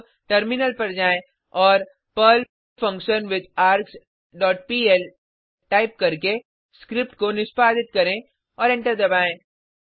अब टर्मिनल पर जाएँ और Perl function with args dot PL type करके स्क्रिप्ट को निष्पादित करें और एंटर दबाएँ